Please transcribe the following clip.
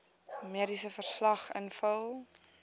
mediese verslag invul